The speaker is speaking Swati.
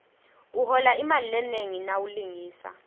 uhola imali lenengi nawulingisa